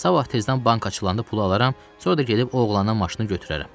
Sabah tezdən bank açılanda pulu alaram, sonra da gedib o oğlanın maşını götürərəm.